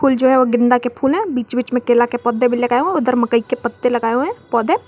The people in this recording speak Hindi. ये जो है गेंदा के फूल हैं बीच बीच में केला के पौधे लगाए गया है और उधर मकई के पत्ते लगाए गए है पौधे।